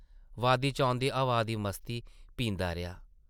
वादी चा औंदी हवा दी मस्ती पींदा रेहा।